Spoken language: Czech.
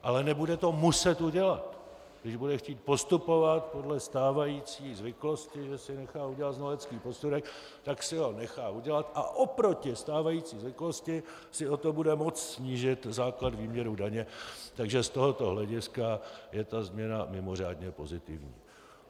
Ale nebude to muset udělat, když bude chtít postupovat podle stávající zvyklosti, že si nechá udělat znalecký posudek, tak si ho nechá udělat, a oproti stávající zvyklosti si o to bude moct snížit základ výměru daně, takže z tohoto hlediska je ta změna mimořádně pozitivní.